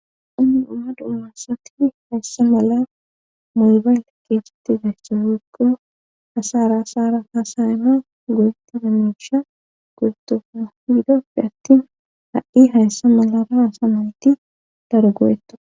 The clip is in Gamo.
unni uma dummassati hayssa mala moybayl keesetti gayssa wuikko hasara asara hasayma goyeti damisha gortoayidoppe attin ha7i hayssa malara asamayti daro go7etta